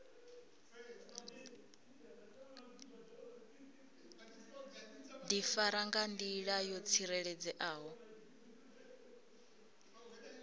difara nga ndila yo tsireledzeaho